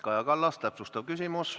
Kaja Kallas, täpsustav küsimus.